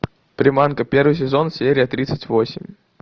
приманка первый сезон серия тридцать восемь